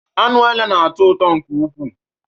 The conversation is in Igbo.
Anụ ele na-atọ ụtọ nke ukwu